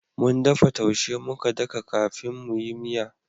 Mun dafa taushe muka daka kafin mu yi miya